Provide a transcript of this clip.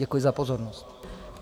Děkuji za pozornost.